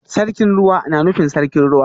Sarkin Ruwa na nufin Sarkin Ruwa